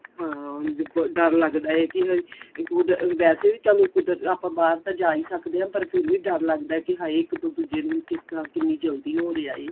ਹਾਂ ਦੇਖੋ ਡਰ ਲੱਗਦਾ ਕੀ ਕੁਦ ਵੈਸੇ ਵੀ ਚੱਲੋ ਕੁਦ ਆਪਾਂ ਬਾਹਰ ਤਾਂ ਜਾ ਹੀ ਸਕਦੇ ਆਂ ਪਰ ਵੀ ਡਰ ਲੱਗਦਾ ਕੀ ਹਾਏ ਜੇ ਇੱਕ ਤੋਂ ਦੂਜੇ ਨੂੰ ਕਿਸ ਤਰ੍ਹਾਂ ਕਿੰਨੀ ਜਲਦੀ ਹੋ ਰਿਹਾ